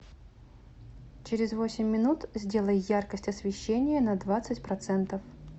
через восемь минут сделай яркость освещения на двадцать процентов